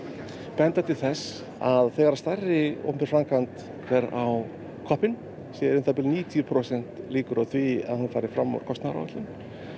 benda til þess að þegar stærri opinber framkvæmd fer á koppinn sé um níutíu prósent líkur á því að hún fari fram úr kostnaðaráætlun